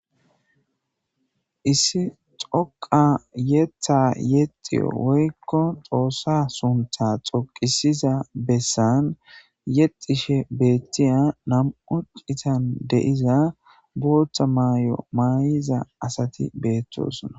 Issi xoqa yetha yexi woykko xoossa suntha xoqisiza bessan yexishe beettiya nam'u citan deiza boothta maay'o maayiza asati beettosona.